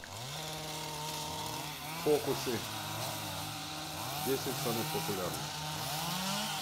фокусы десять самых популярных